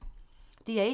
DR1